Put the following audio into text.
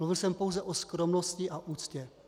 Mluvil jsem pouze o skromnosti a úctě.